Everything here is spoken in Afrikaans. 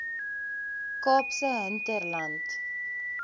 kaapse hinterland